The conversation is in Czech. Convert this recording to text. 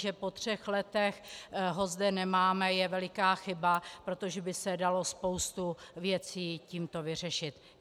Že po třech letech ho zde nemáme, je veliká chyba, protože by se dalo spoustu věcí tímto vyřešit.